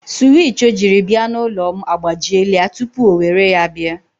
Suwich o jiri bịa n'ụlọ m agbajiela tupu o were ya bịa.